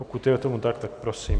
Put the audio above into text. Pokud je tomu tak, tak prosím.